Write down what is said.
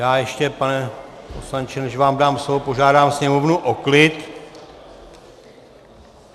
Já ještě, pane poslanče, než vám dám slovo, požádám sněmovnu o klid.